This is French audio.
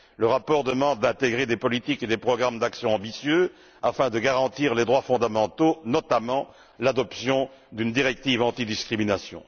Le rapport demande d'intégrer des politiques et des programmes d'action ambitieux afin de garantir les droits fondamentaux, avec notamment l'adoption d'une directive antidiscrimination.